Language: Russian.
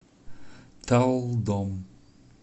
талдом